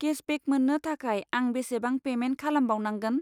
Cashback मोननो थाखाय आं बेसेबां पेमेन्ट खालामबावनांगोन?